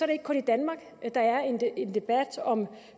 det ikke kun i danmark der er en debat om